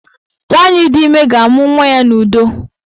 Nwaanyị di ime ga-amụ nwa ya n'udo